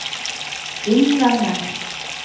innvende